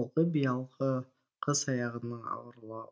ұлға биылғы қыс аяғының ауырлау